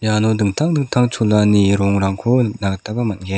iano dingtang dingtang cholani rongrangko nikna gitaba man·gen.